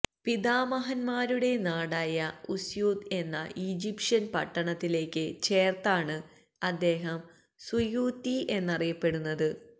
പിതാമഹന്മാരുടെ നാടായ ഉസ്യൂത്വ് എന്ന ഈജിപ്ഷ്യന് പട്ടണത്തിലേക്ക് ചേര്ത്താണ് അദ്ദേഹം സുയൂത്വി എന്നറിയപ്പെടുന്നത്